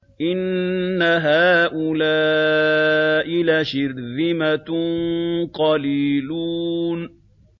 إِنَّ هَٰؤُلَاءِ لَشِرْذِمَةٌ قَلِيلُونَ